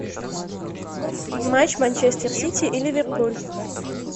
матч манчестер сити и ливерпуль